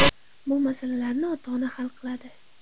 Bu masalalarni ota-ona hal qiladi.